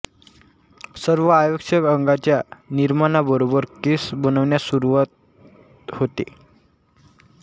सर्व आवश्यक अंगाच्या निर्माणाबरोबर केसं बनण्यास सुरू होते